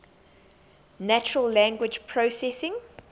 natural language processing